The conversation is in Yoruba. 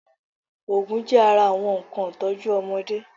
Oògùn jẹ́ ara àwọn nnkan ìtọ́jú ọmọdé